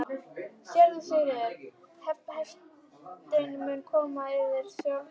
SÉRA SIGURÐUR: Heiftin mun koma yður sjálfum í koll?